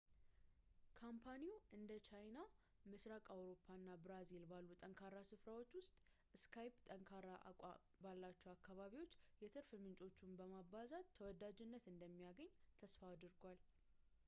ካምፓኒው እንደ ቻይና ፣ ምስራቅ አውሮፓ እና ብራዚል ባሉ ጠንካራ ስፍራዎች ውስጥ skype ጠንካራ አቋም ባላቸው አካባቢዎች የትርፍ ምንጮቹን በማባዛት ተወዳጅነት እንደሚያገኝ ተስፋ አድርጓል